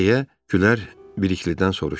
deyə Kürlər Birliklidən soruşdu.